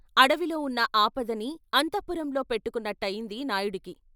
అడవిలో వున్న ఆపదని అంతఃపురంలో పెట్టుకున్నట్టయింది నాయుడికి.